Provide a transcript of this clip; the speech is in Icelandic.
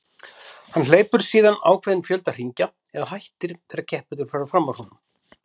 Hann hleypur síðan ákveðinn fjölda hringja eða hættir þegar keppendur fara fram úr honum.